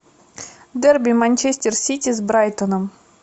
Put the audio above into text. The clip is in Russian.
дерби манчестер сити с брайтоном